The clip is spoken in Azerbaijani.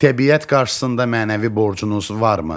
Təbiət qarşısında mənəvi borcunuz varmı?